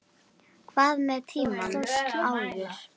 Hvað með tímann áður?